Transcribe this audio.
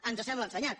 ens sembla assenyat